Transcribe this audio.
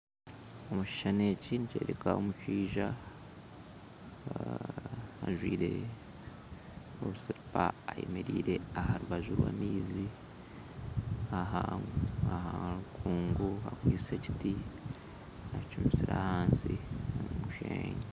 Omu kishushani eki nikyoreka omushaija ajwaire obusiripa ayemereire aha rubaju rw'amaizi aha ahankungu akwaitse ekiti akicumisire ahansi aha musheenyi